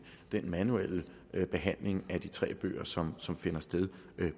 den manuelle behandling af de tre bøger som som finder sted